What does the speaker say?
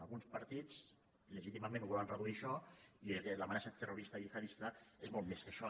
alguns partits legítimament ho volem reduir a això i l’amenaça terrorista gihadista és molt més que això